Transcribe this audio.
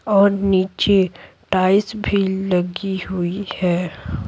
और नीचे भी लगी हुई है।